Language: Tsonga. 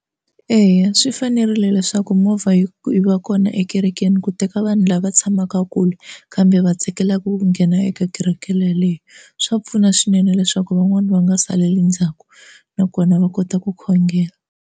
Eya swi fanerile leswaku movha yi yi va kona ekerekeni ku teka vanhu lava tshamaka kule kambe va tsakelaka ku nghena eka kereke yaleyo swa pfuna swinene leswaku van'wani va nga saleli ndzhaku nakona va kota ku khongela.